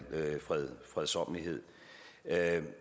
fredsommelighed